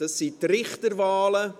Es sind die Richterwahlen.